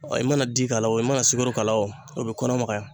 i mana di k'a la o i mana sukoro o k'a la o o be kɔnɔ magaya.